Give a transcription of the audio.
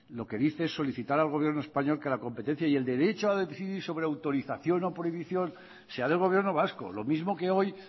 lo que dice solicitar al gobierno español que la competencia y el derecho a decidir sobre autorización y prohibición sea del gobierno vasco lo mismo que hoy